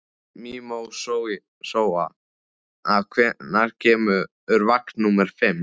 Mímósa, hvenær kemur vagn númer fimm?